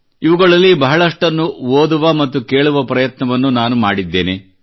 ಇವುಗಳಲ್ಲಿ ಬಹಳಷ್ಟನ್ನು ಓದುವ ಮತ್ತು ಕೇಳುವ ಪ್ರಯತ್ನವನ್ನು ನಾನು ಮಾಡಿದ್ದೇನೆ